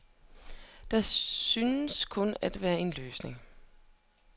Der synes kun at være en løsning.